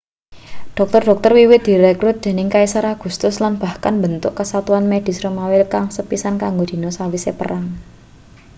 dokter-dokter wiwit direkrut dening kaisar augustus lan bahkan mbentuk kesatuan medis romawi kang sepisan kang dinggo sawise perang